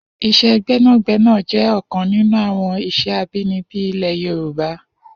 Is̩é̩ gbé̩nàgbé̩nà jé̩ ò̩kan nínú àwo̩n ìs̩é̩ abínibí ilè̩ Yorùbá